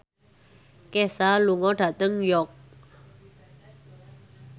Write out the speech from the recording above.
Kesha lunga dhateng York